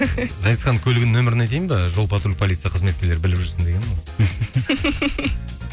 ғазизханның көлігінің нөмірін айтайын ба жол патруль полиция қызметкерлері біліп жүрсін дегенім ғой